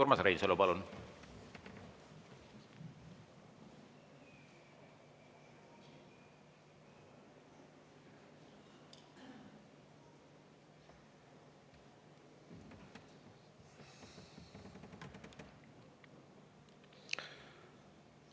Urmas Reinsalu, palun!